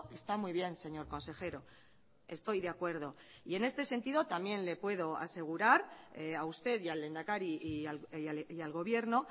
está muy bien señor consejero estoy de acuerdo y en este sentido también le puedo asegurar a usted y al lehendakari y al gobierno